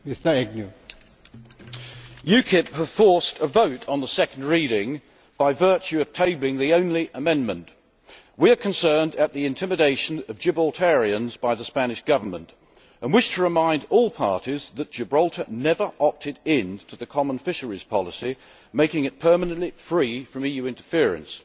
Mr President, UKIP have forced a vote on the second reading by virtue of tabling the only amendment. We are concerned at the intimidation of Gibraltarians by the Spanish Government and wish to remind all parties that Gibraltar never opted into the common fisheries policy, making it permanently free from EU interference.